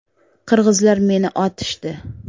Qirg‘izlar meni otishdi.